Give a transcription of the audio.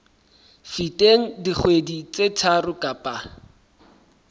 feteng dikgwedi tse tharo kapa